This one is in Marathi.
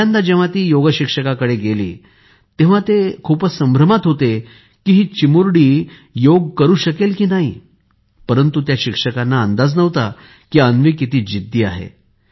पहिल्यांदा जेव्हा ती योग शिक्षकांकडे गेली तेव्हा ते खूपच संभ्रमात होते की हि चिमुरडी योग करू शकेल की नाही परंतु त्या शिक्षकांना अंदाज नव्हता की अन्वी किती जिद्दी आहे